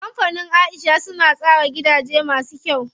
Kampanin Aisha suna tsara gidaje masu kyau.